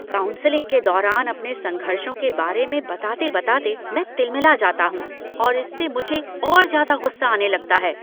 Counselling के दौरान अपने संघर्षों के बारे में बताते बताते मैं तिलमिला जाता हूँ और इससे मुझे और ज़्यादा गुस्सा आने लगता है।